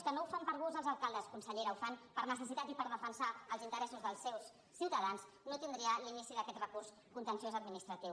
que no ho fan per gust els alcaldes consellera ho fan per necessitat i per defensar els interessos dels seus ciutadans no tindria l’inici d’aquest recurs contenciós administratiu